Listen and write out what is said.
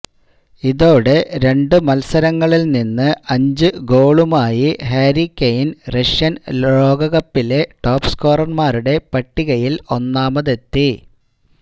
ഇതോടെ രണ്ടു മല്സരങ്ങളില് നിന്ന് അഞ്ചു ഗോളുമായി ഹാരി കെയ്ന് റഷ്യന് ലോകകപ്പിലെ ടോപ് സ്കോറര്മാരുടെ പട്ടികയില് ഒന്നാമതെത്തി